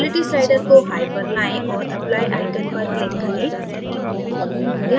quality slider को high पर लायें और applyआइकन पर click करें